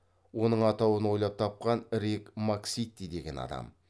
оның атауын ойлап тапқан рик масситти деген адам